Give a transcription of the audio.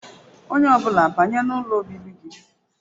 Onye ọ bụla banye n'ụlọ obibi gị